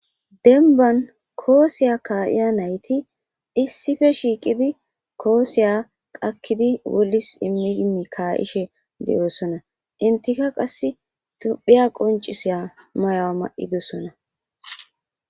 denban koosiya kaayiya nayti issife shiiqidi koosiya qakkidi wolis immiimi ka ishe de7oosona intika qass tophiya qoncisiya mayo7a ma7i dosona